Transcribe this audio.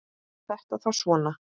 Var þetta þá svona?